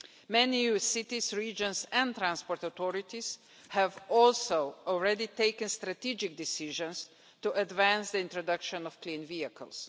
Many EU cities, regions and transport authorities have also already taken strategic decisions to advance the introduction of clean vehicles.